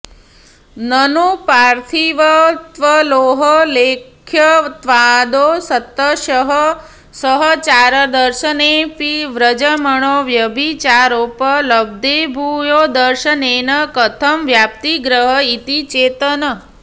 ननु पार्थिवत्वलोहलेख्यत्वादौ शतशः सहचारदर्शनेऽपि वज्रमणौ व्यभिचारोपलब्धेर्भूयोदर्शनेन कथं व्याप्तिग्रह इति चेत् न